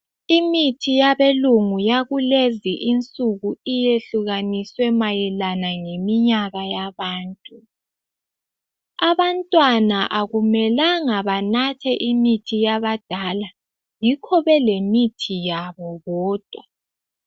Imithi yabelungu yakulezi insuku iyehlukaniswe mayelana ngeminyaka yabantu. Abantwana akumelanga banathe imithi yabadala yikho belemithi yabo bodwa.